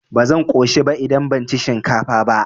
Ba zan ƙoshi ba idan ban ci shinkafa ba.